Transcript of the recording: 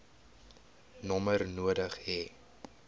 nommer nodig hê